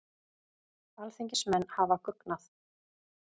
Alþingismenn hafa guggnað